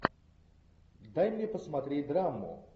дай мне посмотреть драму